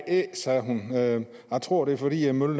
ikke sagde hun jeg tror det er fordi møllen